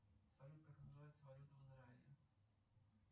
салют как называется валюта в израиле